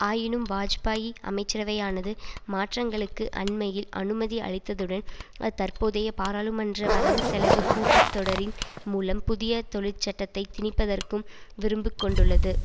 ஆயினும் வாஜ்பாயி அமைச்சரவையானது மாற்றங்களுக்கு அண்மையில் அனுமதி அளித்ததுடன் அது தற்போதைய பாராளுமன்ற வரவுசெலவு கூட்டத்தொடரின் மூலம் புதிய தொழிற்சட்டத்தை திணிப்பதற்கும் விரும்புக் கொண்டுள்ளது